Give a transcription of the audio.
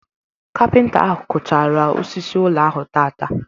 Kapinta ahụ kụchaara osisi ụlọ ahụ taata.